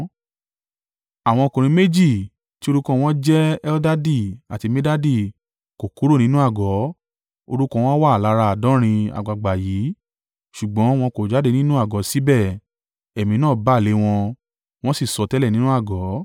Àwọn ọkùnrin méjì, tí orúkọ wọn ń jẹ́ Eldadi àti Medadi kò kúrò nínú àgọ́. Orúkọ wọn wà lára àádọ́rin àgbàgbà yìí ṣùgbọ́n wọn kò jáde nínú àgọ́ síbẹ̀ Ẹ̀mí náà bà lé wọn, wọ́n sì sọtẹ́lẹ̀ nínú àgọ́.